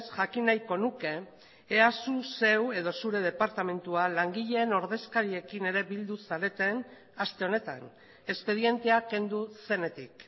jakin nahiko nuke ea zu zeu edo zure departamentua langileen ordezkariekin ere bildu zareten aste honetan espedientea kendu zenetik